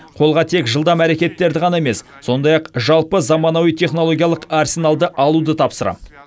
қолға тек жылдам әрекеттерді ғана емес сондай ақ жалпы заманауи технологиялық арсеналды алуды тапсырамын